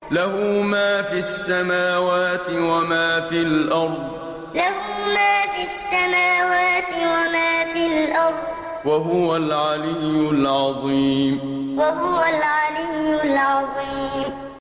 لَهُ مَا فِي السَّمَاوَاتِ وَمَا فِي الْأَرْضِ ۖ وَهُوَ الْعَلِيُّ الْعَظِيمُ لَهُ مَا فِي السَّمَاوَاتِ وَمَا فِي الْأَرْضِ ۖ وَهُوَ الْعَلِيُّ الْعَظِيمُ